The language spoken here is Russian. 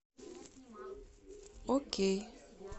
окей